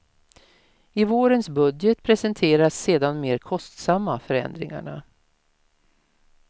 I vårens budget presenteras sedan de mer kostsamma förändringarna.